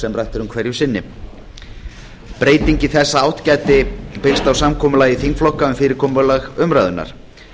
sem rætt er um hverju sinni breyting í þessa átt gæti byggst á samkomulagi þingflokka um fyrirkomulag umræðunnar